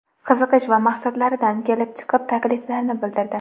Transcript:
Qiziqish va maqsadlaridan kelib chiqib, takliflar bildirdi.